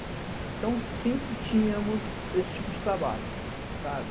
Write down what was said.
Então, sempre tínhamos esse tipo de trabalho.